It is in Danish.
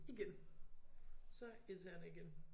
Igen. Så irriterende igen